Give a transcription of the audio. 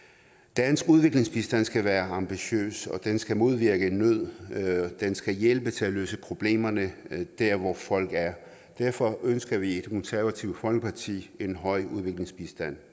dansk udviklingsbistand skal være ambitiøs og den skal modvirke nød og den skal hjælpe til at løse problemerne der hvor folk er derfor ønsker vi i det konservative folkeparti en høj udviklingsbistand